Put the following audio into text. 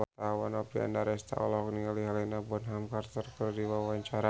Oppie Andaresta olohok ningali Helena Bonham Carter keur diwawancara